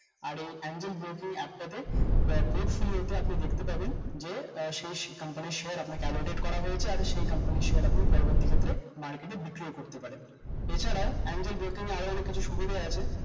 আর এই angelbroking app টাতে portfolio তে আপনি দেখতে পাবেন যে আহ company র share আপনাকে Alotted করা হয়েছে আর সেই company র share আপনি পরবর্তী ক্ষেত্রে market এ বিক্রিও করতে পারেন এছাড়াও angel broking আরো অনেক কিছু সুবিধা আছে